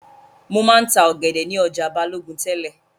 Mo máa ń ta ọ̀gẹ̀dẹ̀ ni ọjà Balogun tẹ́lẹ̀